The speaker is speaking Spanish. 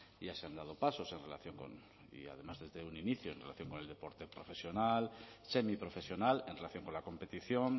ya se han dado pasos en relación con y además desde un inicio en relación con el deporte profesional semiprofesional en relación con la competición